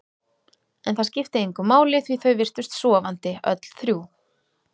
En það skipti engu máli því þau virtust sofandi, öll þrjú.